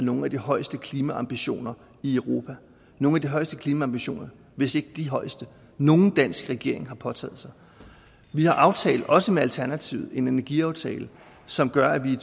nogle af de højeste klimaambitioner i europa nogle af de højeste klimaambitioner hvis ikke de højeste nogen dansk regering har påtaget sig vi har aftalt også med alternativet en energiaftale som gør at vi i